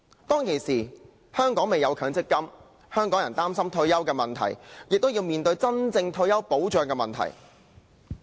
當時，香港尚未有強制性公積金制度，香港人擔心退休的問題，也要面對退休保障的問題。